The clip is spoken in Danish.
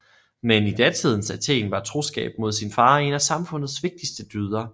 Men i datidens Athen var troskab mod sin far en af samfundets vigtigste dyder